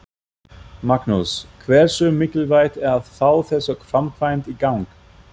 Magnús: Hversu mikilvægt er að fá þessa framkvæmd í gang?